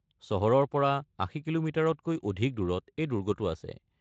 চহৰৰ পৰা ৮০ কি.মি-তকৈ অধিক দূৰত এই দুৰ্গটো আছে।